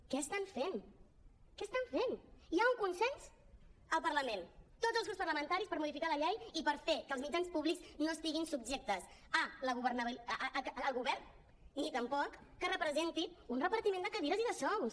què fan què fan hi ha un consens al parlament tots els grups parlamentaris per modificar la llei i per fer que els mitjans públics no estiguin subjectes al govern ni tampoc que representin un repartiment de cadires i de sous